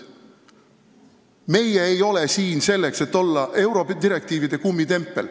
Meie ei ole siin selleks, et olla eurodirektiivide kummitempel.